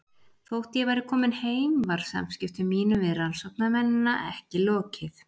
Þótt ég væri komin heim var samskiptum mínum við rannsóknarmennina ekki lokið.